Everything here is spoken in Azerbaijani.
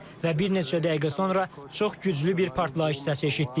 Və bir neçə dəqiqə sonra çox güclü bir partlayış səsi eşitdik.